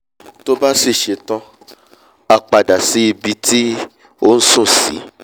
tó bá sì ṣe tán á padà sí ibi tí ó nsùn sí